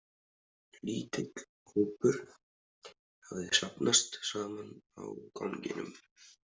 Lítill hópur hafði safnast saman á ganginum.